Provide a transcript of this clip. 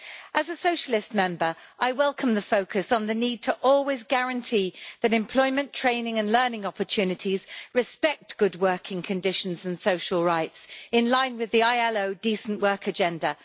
As a Socialist Member, I welcome the focus on the need to always guarantee that employment, training and learning opportunities respect good working conditions and social rights, in line with the International Labour Organisation Decent Work Agenda.